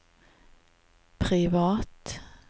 privat